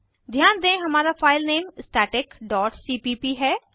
ध्यान दें हमारा फाइलनेम स्टैटिक डॉट सीपीप है